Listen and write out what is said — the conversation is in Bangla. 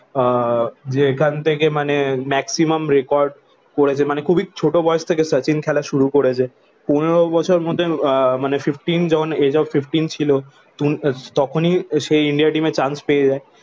আহ যে এখান থেকে মানে maximum record করেছে মানে খুবই ছোট বয়স থেকে শচীন খেলা শুরু করেছে পনেরো বছর মধ্যে আহ মানে ফিফটিন যখন age of fifteen ছিল উনি তখনই সে ইন্ডিয়া টিমে চান্স পেয়ে যায়।